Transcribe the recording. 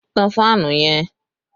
Tán fáànù yẹn!